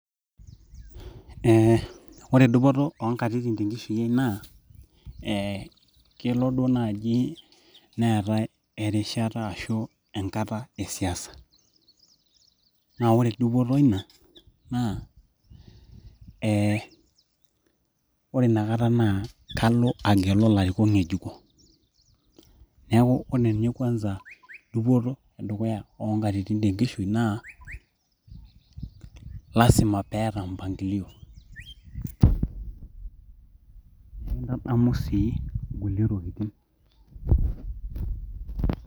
Eeh ore dupoto oonkatitin nikitii naa eeh kelo duo naaji neetai erishata ashuu enkata e siasa nee ore dupoto eina naa eee, ore inakata naa kalo agelu ilarikok ng'ejuko neeku ore ninye kwanza dupoto e dukuya oonkatitin tenkishui naa lazima piata mpangilio adamu sii kulie tokitin kumok.